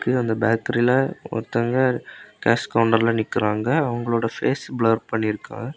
அந்த பேக்கரில ஒருத்தங்க கேஷ் கவுண்டர்ல நிக்கிறாங்க அவங்களோட பேஸ் பிளர் பண்ணிருக்கு.